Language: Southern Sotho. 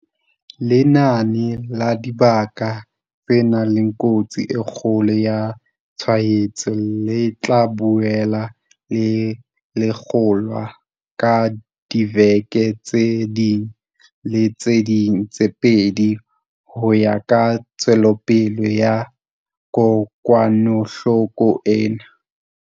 Lenane la dibaka tse nang le kotsi e kgolo ya tshwaetso le tla boela le lekolwa ka diveke tse ding le tse ding tse pedi ho ya ka tswelopele ya kokwanahloko ena.